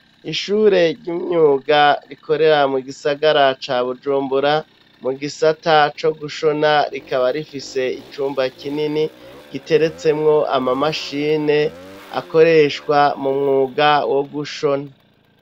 Ishure ry'imyuga rikorera mu gisagara ca Bujumbura mu gisata co gushona, rikaba rifise icumba kinini giteretsemwo ama mashine akoreshwa mu mwuga wo gushona.